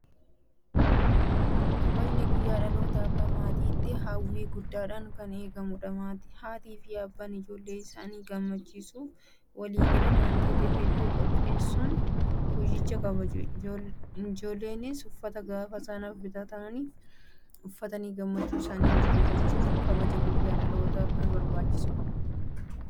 Kabajni guyyaa dhalootaa akka maatiitti hawwii guddaadhaan kan eegamudha. Haatiifi abbaan ijoollee isaanii gammachiisuuf walii galanii waantota hedduu qopheessuun guyyicha kabaju. Injoolleenis uffata gaafa sanaaf bitameef uffatanii gammachuu isaanii mul'ifatu. Kabajni guyyaa dhalootaa kun barbaachisaadhaa?